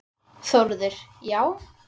Þórður: Já?